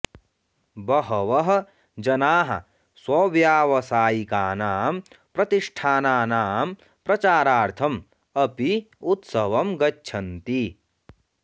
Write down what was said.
बहवः जनाः स्वव्यावसायिकानां प्रतिष्ठानानां प्रचारार्थम् अपि उत्सवं गच्छन्ति